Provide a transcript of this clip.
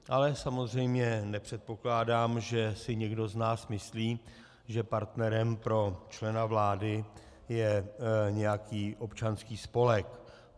Ale samozřejmě nepředpokládám, že si někdo z nás myslí, že partnerem pro člena vlády je nějaký občanský spolek.